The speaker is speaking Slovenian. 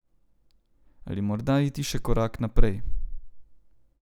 Ali morda iti še korak naprej.